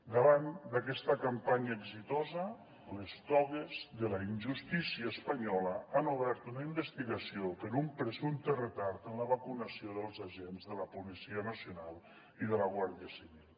davant d’aquesta campanya exitosa les togues de la injustícia espanyola han obert una investigació per un presumpte retard en la vacunació dels agents de la policia nacional i de la guàrdia civil